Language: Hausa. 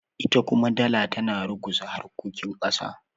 ita kuma dala tana ruguza harkokin kasa